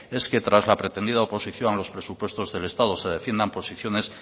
es que tras la pretendida oposición a los presupuestos del estado se defiendan posiciones